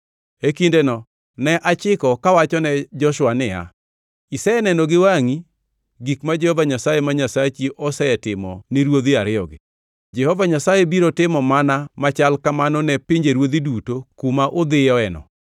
E kindeno ne achiko kawachone Joshua niya, “Iseneno gi wangʼi gik ma Jehova Nyasaye ma Nyasachi osetimo ni ruodhi ariyogi. Jehova Nyasaye biro timo mana machal kamano ne pinjeruodhi duto kuma udhiyoeno.